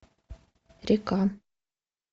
река